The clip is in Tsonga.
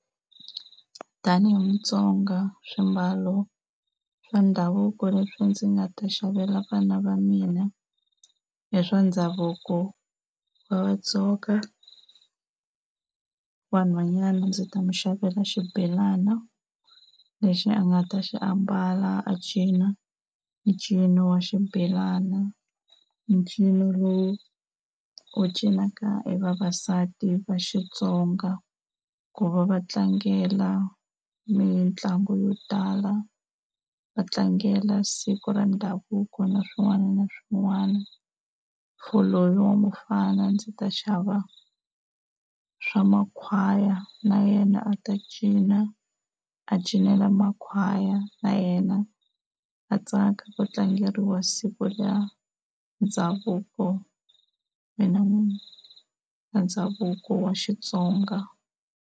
Tanihi Mutsonga swimbalo swa ndhavuko leswi ndzi nga ta xavela vana va mina, hi swa ndhavuko wa Vatsonga, wa nhwanyana ndzi ta n'wi xavela xibelana lexi a nga ta xi ambala a cinca ncino wa xibelana, ncino lowu u cinaka hi vavasati va Xitsonga ku va va tlangela ni mitlangu yo tala, va tlangela siku ra ndhavuko na swin'wana na swin'wana. For loyi wa mufana ndzi ta xava swa makhwaya na yena a ta cina a cinela makhwaya na yena a tsaka ku tlangeriwa siku ra ndhavuko, ndhavuko wa Xitsonga.